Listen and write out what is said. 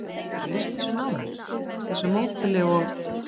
Geturðu lýst þessu nánar, þessu módeli og?